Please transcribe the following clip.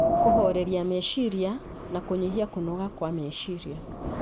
kũhooreria meciria na kũnyihia kũnoga kwa meciria.